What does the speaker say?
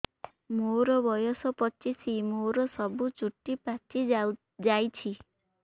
ମୋର ବୟସ ପଚିଶି ମୋର ସବୁ ଚୁଟି ପାଚି ଯାଇଛି